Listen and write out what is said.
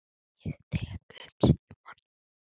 Ég tek upp símann.